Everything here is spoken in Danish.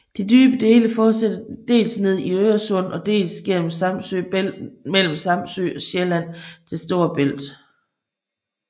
De dybe dele fortsætter dels ned i Øresund og dels gennem Samsø Bælt mellem Samsø og Sjælland til Storebælt